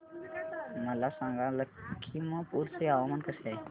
मला सांगा लखीमपुर चे हवामान कसे आहे